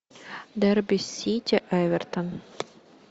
дерби сити эвертон